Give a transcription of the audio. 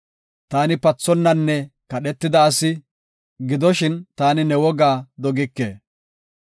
Taani pathonnanne kadhetida asi; gidoshin ta ne wogaa dogike.